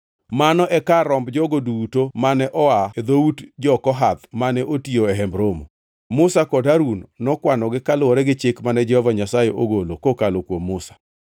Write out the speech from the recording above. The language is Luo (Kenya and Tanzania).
Mano e kar romb jogo duto mane oa e dhout jo-Kohath mane otiyo e Hemb Romo. Musa kod Harun nokwanogi kaluwore gi chik mane Jehova Nyasaye ogolo kokalo kuom Musa.